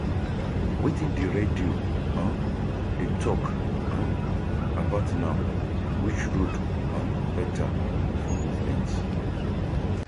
Wetin di radio um dey talk um about now, which road um beta for movement?